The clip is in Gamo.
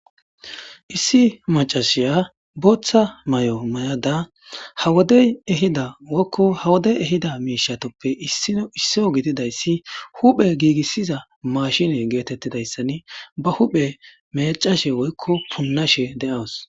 Issi mac'asiya botha mayo mayada ha wode ehida woyko ha wode ehida mishatuppe issino isuwa gididaysa issi huphe gigisiza mashinne getetidaysa ba huphe mec'ashe woyko punashe de'awus.